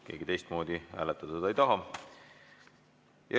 Keegi teistmoodi seda hääletada ei taha.